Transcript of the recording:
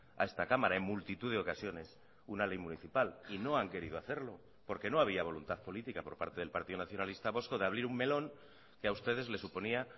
a esta cámara en multitud de ocasiones una ley municipal y no han querido hacerlo porque no había voluntad política por parte del partido nacionalista vasco de abrir un melón que a ustedes les suponía